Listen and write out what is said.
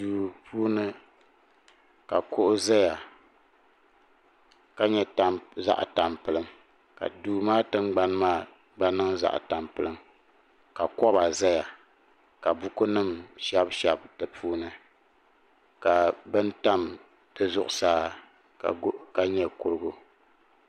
duu puuni ka kuɣu ʒɛya ka nyɛ zaɣ tampilim ka duu maa tingbani maa gba niŋ zaɣ tampilim ka koba ʒɛya ka buku nim shɛbi shɛbi di puuni ka bini tam zuɣusaa ka nyɛ kurigu